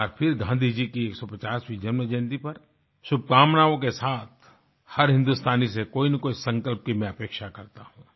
एक बार फिर गाँधी जी की 150वीं जन्म जयंती पर शुभकामनाओं के साथ हर हिन्दुस्तानी से कोई न कोई संकल्प की मैं अपेक्षा करता हूँ